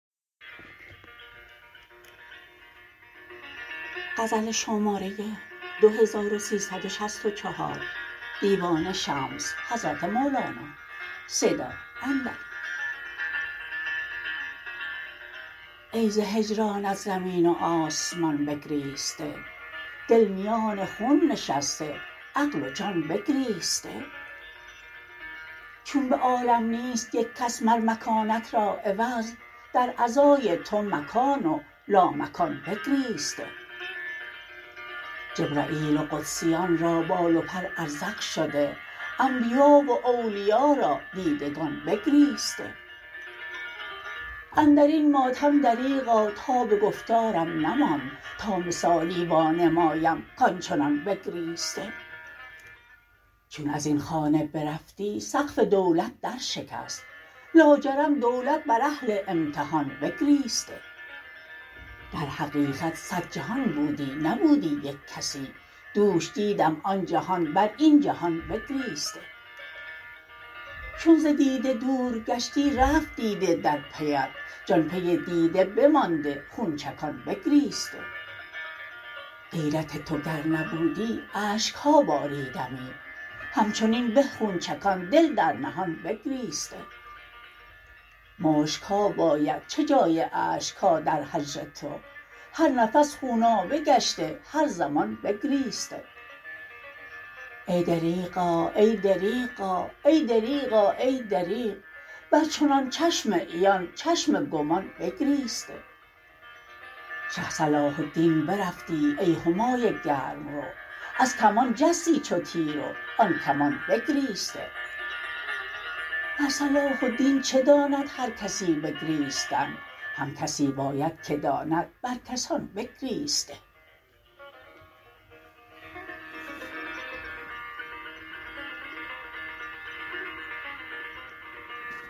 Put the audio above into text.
ای ز هجرانت زمین و آسمان بگریسته دل میان خون نشسته عقل و جان بگریسته چون به عالم نیست یک کس مر مکانت را عوض در عزای تو مکان و لامکان بگریسته جبرییل و قدسیان را بال و پر ازرق شده انبیا و اولیا را دیدگان بگریسته اندر این ماتم دریغا تاب گفتارم نماند تا مثالی وانمایم کان چنان بگریسته چون از این خانه برفتی سقف دولت درشکست لاجرم دولت بر اهل امتحان بگریسته در حقیقت صد جهان بودی نبودی یک کسی دوش دیدم آن جهان بر این جهان بگریسته چو ز دیده دور گشتی رفت دیده در پیت جان پی دیده بمانده خون چکان بگریسته غیرت تو گر نبودی اشک ها باریدمی همچنین به خون چکان دل در نهان بگریسته مشک ها باید چه جای اشک ها در هجر تو هر نفس خونابه گشته هر زمان بگریسته ای دریغا ای دریغا ای دریغا ای دریغ بر چنان چشم عیان چشم گمان بگریسته شه صلاح الدین برفتی ای همای گرم رو از کمان جستی چو تیر و آن کمان بگریسته بر صلاح الدین چه داند هر کسی بگریستن هم کسی باید که داند بر کسان بگریسته